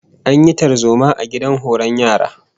An yi tarzoma a gidan horon yara